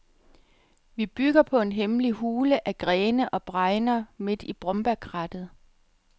Vi bygger på en hemmelig hule af grene og bregner midt i brombærkrattet.